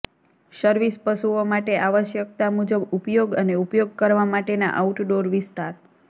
service પશુઓ માટે આવશ્યકતા મુજબ ઉપયોગ અને ઉપયોગ કરવા માટેના આઉટડોર વિસ્તાર